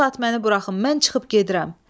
Bu saat məni buraxın, mən çıxıb gedirəm.